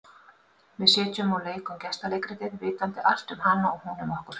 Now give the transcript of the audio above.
Við sitjum og leikum gestaleikritið, vitandi allt um hana og hún um okkur.